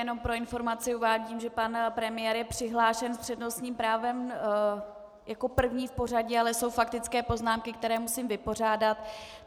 Jenom pro informaci uvádím, že pan premiér je přihlášen s přednostním právem jako první v pořadí, ale jsou faktické poznámky, které musím vypořádat.